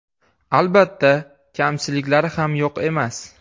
Albatta, kamchiliklari ham yo‘q emas.